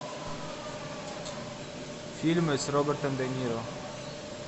фильмы с робертом де ниро